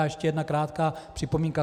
A ještě jedna krátká připomínka.